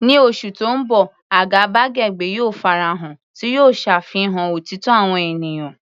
Ní oṣù tó ń bọ̀, àgàbàgebè yóò farahàn, tí yóò ṣàfihàn òtítọ́ àwọn ènìyàn.